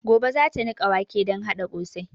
Gobe zata niƙa wake don haɗa ƙosai